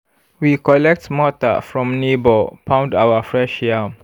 we collect mortar from neighbour pound our fresh yam.